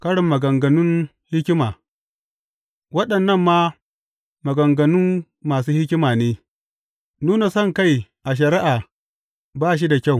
Ƙarin maganganun hikima Waɗannan ma maganganun masu hikima ne, Nunan sonkai a shari’a ba shi da kyau.